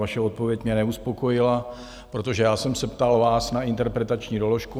Vaše odpověď mě neuspokojila, protože já jsem se vás ptal na interpretační doložku.